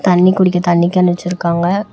தண்ணி குடிக்க தண்ணி கேன் வச்சிருக்காங்க.